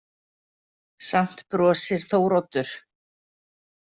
Samt brosir Þóroddur.